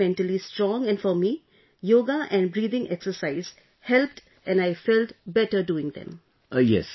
One has to remain mentally strong and for me, yoga and breathing exercise helped and I felt better doing them